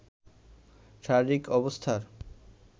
শারীরিক অবস্থার